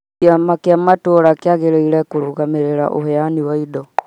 Kĩama kĩa matũra kĩagĩrĩirwo kũrũgamĩrĩra ũheani wa indo